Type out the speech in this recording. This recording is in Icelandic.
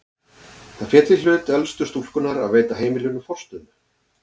Það féll í hlut elstu stúlkunnar að veita heimilinu forstöðu.